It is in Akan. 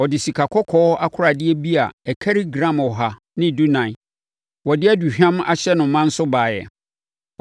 Ɔde sikakɔkɔɔ akoradeɛ bi a ɛkari gram ɔha ne dunan (114) wɔde aduhwam ahyɛ no ma nso baeɛ.